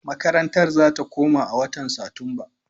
Makarantar za ta koma a watan Satumba.